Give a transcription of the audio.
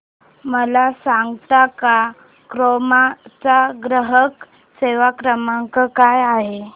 मला सांगता का क्रोमा चा ग्राहक सेवा क्रमांक काय आहे